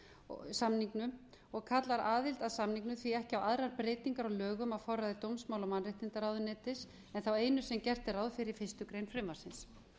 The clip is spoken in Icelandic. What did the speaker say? í samningnum og kallar aðild að samningnum því ekki á aðrar breytingar á lögum á forræði dómsmála og mannréttindaráðuneytis en þá einu sem gert er ráð fyrir í fyrstu grein frumvarpsins